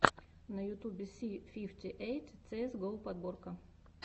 на ютюбе си фифти эйт цээс го подборка